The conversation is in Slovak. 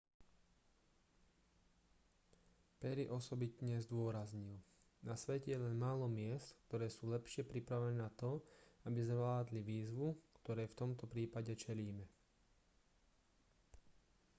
perry osobitne zdôraznil na svete je len málo miest ktoré sú lepšie pripravené na to aby zvládli výzvu ktorej v tomto prípade čelíme